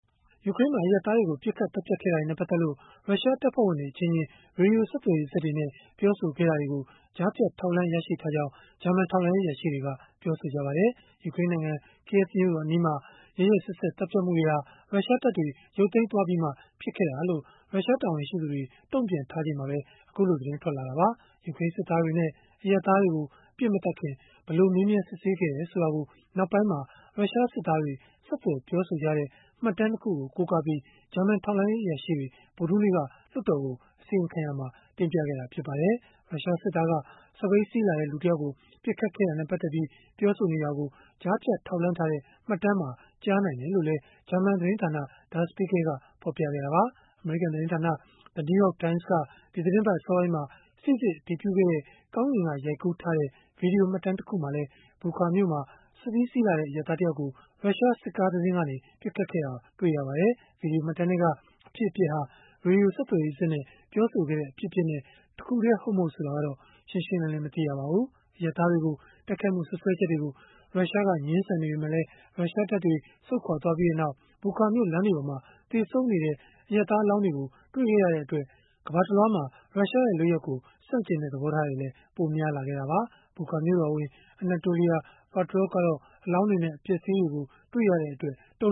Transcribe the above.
ယူကရိန်းမှာ အရပ်သားတွေကို ပစ်ခတ်သတ်ဖြတ်ခဲ့တာတွေနဲ့ ပတ်သက်လို့ ရုရှားတပ်ဖွဲ့ဝင်တွေ အချင်းချင်း ရေဒီယို ဆက်သွယ်ရေးစက်တွေနဲ့ ပြောဆိုခဲ့တာတွေကို ကြားဖြတ်ထောက်လှမ်း ရရှိထားကြောင်း ဂျာမန်ထောက်လှမ်းရေး အရာရှိတွေက ပြောပါတယ်။ ယူကရိန်းနိုင်ငံ Kyiv မြို့တော်အနီးမှာ ရက်ရက်စက်စက် သတ်ဖြတ်မှုတွေဟာ ရုရှားတပ်တွေ ရုပ်သိမ်းသွားပြီးမှ ဖြစ်ခဲ့တာလို့ ရုရှားတာဝန်ရှိသူတွေ တုံ့ပြန်ထားချိန်မှာပဲ အခုလို သတင်းထွက်ပေါ်လာတာပါ။ ယူကရိန်း စစ်သားတွေနဲ့ အရပ်သားတွေကို ပစ်မသတ်ခင် ဘယ်လိုမေးမြန်းစစ်ဆေးခဲ့တယ်ဆိုတာကို နောက်ပိုင်းမှာ ရုရှားစစ်သားတွေ ဆက်သွယ်ပြောဆိုကြတဲ့ မှတ်တမ်း ၂ ခုကို ကိုးကားပြီး ဂျာမန်ထောက်လှမ်းရေး အရာရှိတွေ ဗုဒ္ဓဟူးနေ့က လွှတ်တော်ကို အစီရင်ခံရာမှာ တင်ပြခဲ့တာ ဖြစ်ပါတယ်။ ရုရှားစစ်သားက စက်ဘီးစီးလာတဲ့ လူတယောက်ကို ပစ်ခတ်ခဲ့တာနဲ့ ပတ်သက်ပြီး ပြောနေတာကို ကြားဖြတ်ထောက်လှမ်းထားတဲ့ မှတ်တမ်းမှာ ကြားနိုင်တယ်လို့လည်း ဂျာမန်သတင်းဌာန Der Spiegel ကဖော်ပြခဲ့တာပါ။ အမေရိကန်သတင်းဌာန The New York Times က ဒီသီတင်းပတ် အစောပိုင်းမှာ စိစစ်အတည်ပြုခဲ့တဲ့ ကောင်းကင်က ရိုက်ကူးထားတဲ့ ဗွီဒီယိုမှတ်တမ်း တခုမှာလည်း Bucha မြို့မှာ စစ်ဘီးစီးလာတဲ့ အရပ်သားတယောက်ကို ရုရှားစစ်ကားတစင်းကနေ ပစ်ခတ်ခဲ့တာ တွေ့ရပါတယ်။ ဗွီဒီယိုမှတ်တမ်းထဲက အဖြစ်အပျက်ဟာ၊ ရေဒီယို ဆက်သွယ်ရေးစက်နဲ့ ပြောဆိုခဲ့တဲ့ အဖြစ်အပျက်နဲ့ တခုတည်း ဟုတ်၊ မဟုတ် ဆိုတာကတော့ ရှင်းရှင်းလင်းလင်း မသိရပါဘူး။ အရပ်သားတွေကို တိုက်ခိုက်မှု စွပ်စွဲချက်တွေကို ရုရှားက ငြင်းဆန်နေပေမဲ့လည်း ရုရှားတပ်တွေ ဆုတ်ခွာပြီးနောက် Bucha မြို့ လမ်းတွေပေါ်မှာ သေဆုံးနေတဲ့ အရပ်သားအလောင်းတွေကို တွေ့ခဲ့ရတဲ့အတွက် ကမ္ဘာတလွှား ရုရှားရဲ့ လုပ်ရပ်ကို ဆန့်ကျင်တဲ့ သဘောထားတွေလည်း ပိုများလာခဲ့တာပါ။ Bucha မြို့တော်ဝန် Anatoliy Fedoruk ကတော့ အလောင်းတွေနဲ့ အပျက်အစီးတွေကို တွေ့ရတဲ့အတွက် တု